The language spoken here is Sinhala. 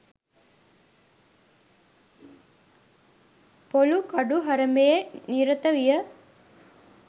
පොලූ කඩු හරඹයේ නිරත විය